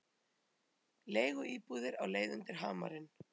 Leiguíbúðir á leið undir hamarinn